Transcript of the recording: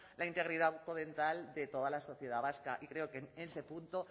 la integridad bucodental de toda la sociedad vasca y creo que en ese punto